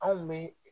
Anw bɛ